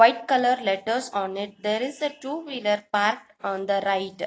white colour letters on it there is a two wheeler park on the right.